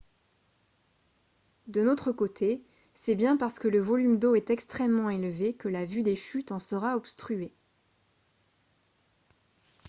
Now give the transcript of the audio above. d'un autre côté c'est bien parce que le volume d'eau est extrêmement élevé que la vue des chutes en sera obstruée